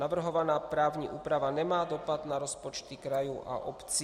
Navrhovaná právní úprava nemá dopad na rozpočty krajů a obcí.